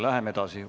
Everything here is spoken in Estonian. Läheme edasi.